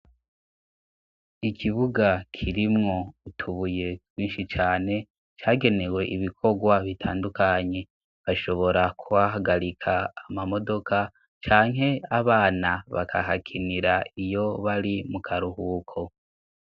Ikibuga kirimwo utubuye kwinshi cane cagenewe ibikorwa bitandukanye bashobora kubahagarika amamodoka cyanke abana bakahakinira iyo bari mu karuhuko.